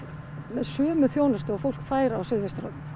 sömu þjónustu og fólk fær á suðvesturhorninu